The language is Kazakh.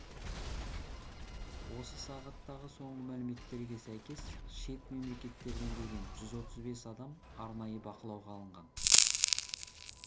осы сағаттағы соңғы мәліметтерге сәйкес шет мемлекеттерден келген жүз отыз бес адам арнайы бақылауға алынған